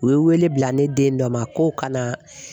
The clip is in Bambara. U ye wele bila ne den dɔ ma ko ka na